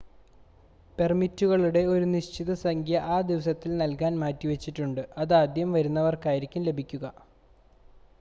പെർമിറ്റുകളുടെ ഒരു നിശ്ചിത സംഖ്യ ആ ദിവസത്തിൽ നൽകാൻ മാറ്റിവെച്ചിട്ടുണ്ട് അതാദ്യം വരുന്നവർക്കായിരിക്കും ലഭിക്കുക